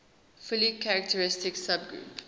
fully characteristic subgroup